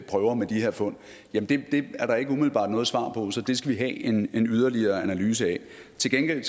prøver med de her fund er der ikke umiddelbart noget svar på så det skal vi have en yderligere analyse af til gengæld